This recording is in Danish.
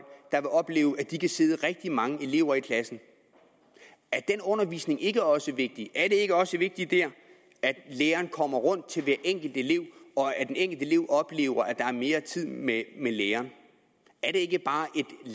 der vil opleve at de kan sidde rigtig mange elever i klassen er den undervisning ikke også vigtig er det ikke også vigtigt der at læreren kommer rundt til hver enkelt elev og at den enkelte elev oplever at der er mere tid med læreren er det ikke bare